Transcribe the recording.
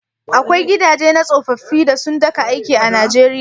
Akwai gidaje na tsofaffi da sun daka aiki a Nijeriya?